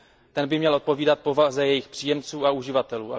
Ten by měl odpovídat povaze jejich příjemců a uživatelů.